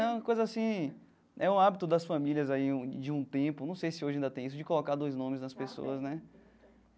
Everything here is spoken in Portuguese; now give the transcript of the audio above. É uma coisa assim... É um hábito das famílias aí um de um tempo, não sei se hoje ainda tem isso, de colocar dois nomes nas pessoas, né?